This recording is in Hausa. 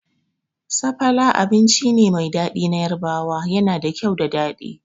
Sapala abinci ne mai daɗi na Yarbawa, yana da kyau da daɗi